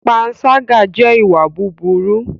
Pànṣàga jẹ ìwà bùbùru.